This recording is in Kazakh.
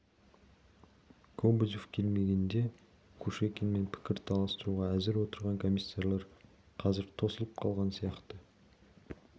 кобозев келмегенде кушекинмен пікір таластыруға әзір отырған комиссарлар қазір тосылып қалған сияқты